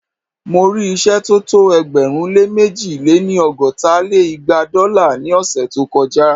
Mo rí ìṣẹ́ tó tó ẹgbẹ̀rún lé mẹ̀ji lé-ní- ọgọ́ta lé igba dọ́là ní ọ̀ṣẹ̀ tó kọ já